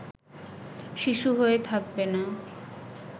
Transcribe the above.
শিশু হয়ে থাকবে না